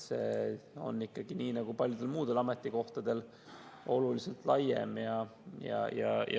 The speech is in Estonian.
See probleem on ikkagi nii nagu paljude muudegi ametite puhul oluliselt laiem.